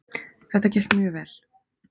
Þetta gekk mjög vel